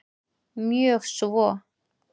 Mjög svo